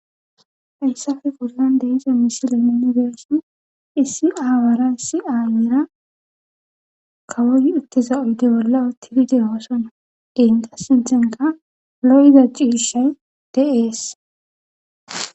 Hayssafe pollande ize misile minibeson issi aawara issi aayira kawoy utteza oyde bolla tidide hoossona geenqa sinthenka lo7da ciishay de'ees.